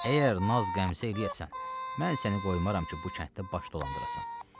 Əgər naz qəmsə eləyəsən, mən səni qoymaram ki, bu kənddə baş dolandırasan.